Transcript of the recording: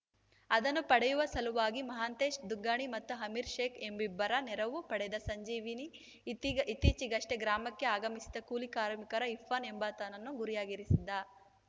ಅದನ್ನು ಪಡೆಯುವ ಸಲುವಾಗಿ ಮಹಾಂತೇಶ ದುಗ್ಗಾಣಿ ಮತ್ತು ಅಮೀರ್‌ ಶೇಖ್‌ ಎಂಬಿಬ್ಬರ ನೆರವು ಪಡೆದ ಸಂಜೀವ ಇತ್ತೀಚೆಗಷ್ಟೇ ಗ್ರಾಮಕ್ಕೆ ಆಗಮಿಸಿದ್ದ ಕೂಲಿ ಕಾರ್ಮಿಕ ಇರ್ಫಾನ್‌ ಎಂಬಾತನನ್ನು ಗುರಿಯಾಗಿರಿಸಿದ್ದ